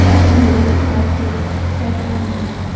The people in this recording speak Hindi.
अर्ध नगन व्यक्ति बैठा हुआ है।